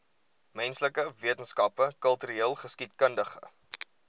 menslike wetenskappe kultureelgeskiedkundige